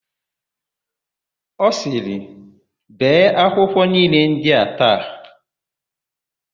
Ọ sịrị, "bee akwụkwọ niile ndị a taa"!